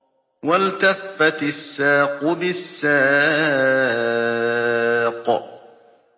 وَالْتَفَّتِ السَّاقُ بِالسَّاقِ